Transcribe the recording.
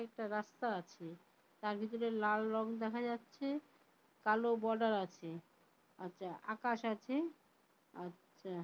এটা রাস্তা আছে তার ভিতরে লাল রঙ দেখা যাচ্ছে। কালো বর্ডার আছে আচ্ছা আকাশ আছে আচ্ছা।